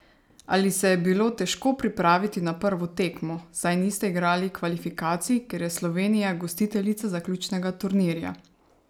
Ali se je bilo težko pripraviti na prvo tekmo, saj niste igrali kvalifikacij, ker je Slovenija gostiteljica zaključnega turnirja?